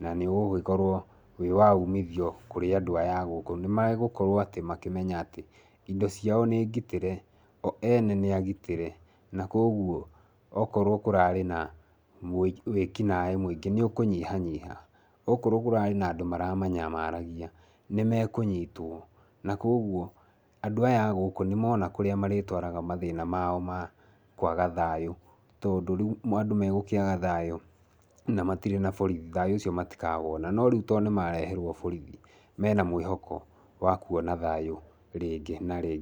na nĩ ũgũgĩkorwo wĩ wa umithio kũri andũ aya agũkũ. Nĩ megũkorwo makĩmenya atĩ indo ciao nĩ ngitĩre, o ene nĩ agitĩre na kuguo okorwo kũrarĩ na wĩkinai mwingi ni ũkũnyihanyiha, ũkorwo kũrarĩ na andũ maramanyamarĩgia nĩ mekũnyitwo nĩ kuguo, andũ aya agũkũ nĩ mona kũria maritwaraga mathĩna mao ma kwaga thayũ tondũ rĩu andũ megĩkwaga thayũ na matirĩ na borithi, thayũ ũcio matikawona. No tondũ nĩ mareherwo borithi, mena mwĩhoko wa kuona thayu rĩngĩ na rĩngĩ.